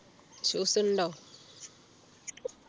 shoes ഉണ്ടോ